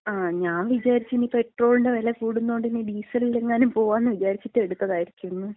ഞാൻ വിചാരിച്ച് ഇനി പെട്രോളിന്‍റ വെല കൂടുന്നോണ്ട് ഇനി ഡീസലിലെങ്ങാനും പോകാംന്ന് വിചാരിച്ചിട്ട് എടുത്തതായിരിക്കുംന്ന്.